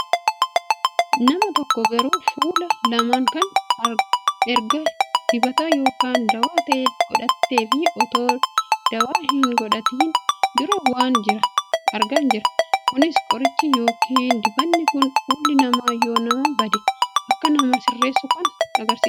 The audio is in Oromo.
nama tokko garuu fuula laman kan erga dibata yookaan daawwaa ta'e godhatteefi otoo daawwaa kana hin godhatiin duran argaa jira. kunis qorichi yookaan dibanni kun fuulli nama yoo nama bade akka namaa sirreessu kan agarsiisudha.